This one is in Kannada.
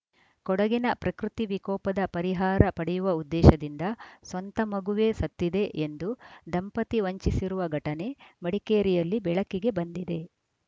ಕೊಡಗಿನ ಪ್ರಕೃತಿ ವಿಕೋಪದ ಪರಿಹಾರ ಪಡೆಯುವ ಉದ್ದೇಶದಿಂದ ಸ್ವಂತ ಮಗುವೇ ಸತ್ತಿದೆ ಎಂದು ದಂಪತಿ ವಂಚಿಸಿರುವ ಘಟನೆ ಮಡಿಕೇರಿಯಲ್ಲಿ ಬೆಳಕಿಗೆ ಬಂದಿದೆ